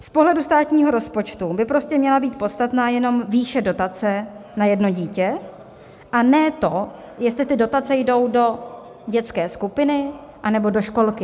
Z pohledu státního rozpočtu by prostě měla být podstatná jenom výše dotace na jedno dítě a ne to, jestli ty dotace jdou do dětské skupiny, anebo do školky.